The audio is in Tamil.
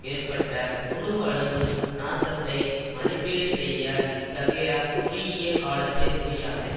ஏற்பட்ட முழு அளவு நாசத்தை மதிப்பீடு செய்ய இத்தகைய குறுகிய காலத்தில் முடியாது